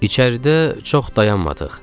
İçəridə çox dayanmadıq.